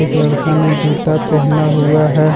एक लड़का ने जूता पहना हुआ है।